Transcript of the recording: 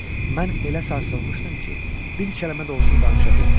Mən elə sarsılmışdım ki, bir kəlmə də olsun danışa bilmirdim.